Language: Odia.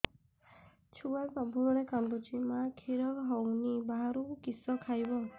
ଛୁଆ ସବୁବେଳେ କାନ୍ଦୁଚି ମା ଖିର ହଉନି ବାହାରୁ କିଷ ଖାଇବ